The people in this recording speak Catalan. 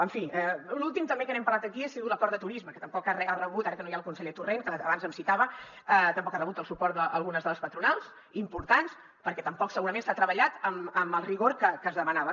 en fi l’últim també que n’hem parlat aquí ha sigut l’acord de turisme que tampoc ha rebut ara que no hi ha el conseller torrent que abans em citava el suport d’algunes de les patronals importants perquè tampoc segurament s’ha treballat amb el rigor que es demanava